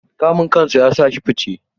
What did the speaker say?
Kamun kansa yasa shi fice.